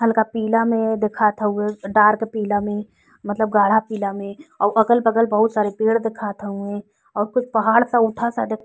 हल्का पीला में दिखात हउवे डार्क पीला में मतलब गाढ़ा पीला में अउर अगल-बगल बोहोत सारे पेड़ देखात हउवें अउर फिर पहाड़ पर उठा सा देख --